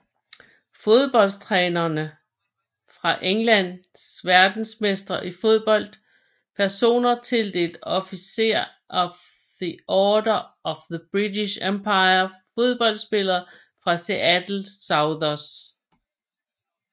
Fodboldtrænere fra England Verdensmestre i fodbold Personer tildelt Officer of the Order of the British Empire Fodboldspillere fra Seattle Sounders